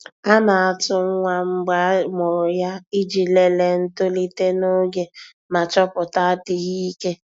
A na-atụ nwa mgbe a mụrụ ya iji lelee ntolite n'oge ma chọpụta adịghị ike.